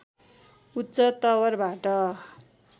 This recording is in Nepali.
उच्च तवरबाट